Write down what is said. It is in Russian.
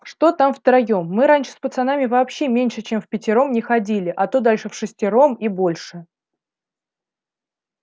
что там втроём мы раньше с пацанами вообще меньше чем впятером не ходили а то дальше вшестером и больше